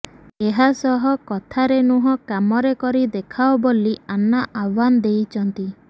ଏହାସହ କଥାରେ ନୁହଁ କାମରେ କରି ଦେଖାଅ ବୋଲି ଆନ୍ନା ଆହ୍ୱାନ ଦେଇଛନ୍ତି